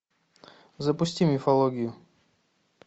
запусти мифологию